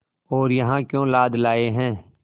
और यहाँ क्यों लाद लाए हैं